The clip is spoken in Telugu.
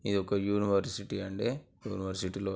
ఇదొక యూనివర్సిటీ అండి. యూనివర్సిటీ లో --